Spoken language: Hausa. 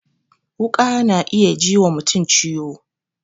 Wuƙa ta na iya ji wa mutum ciwo